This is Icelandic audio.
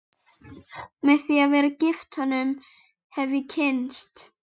Með því að vera gift honum hef ég kynnst